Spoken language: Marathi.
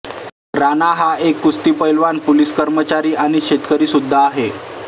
राणा हा एक कुस्ती पैलवान पोलिस कर्मचारी आणि शेतकरी सुद्धा आहे